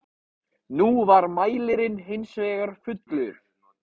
Nú var mælirinn hins vegar fullur.